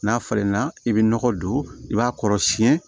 N'a falenna i bɛ nɔgɔ don i b'a kɔrɔ siyɛn